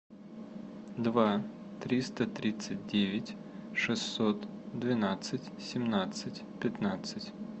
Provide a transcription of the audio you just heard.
два триста тридцать девять шестьсот двенадцать семнадцать пятнадцать